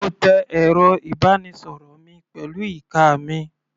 Mo tẹ ẹ̀rọ ìbánisọ̀rọ̀ mi pẹ̀lú ìka mi.